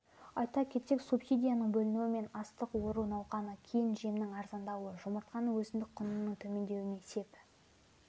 айта кетсек субсидияның бөлінуі мен астық ору науқанынан кейін жемнің арзандауы жұмыртқаның өзіндік құнының төмендеуіне сеп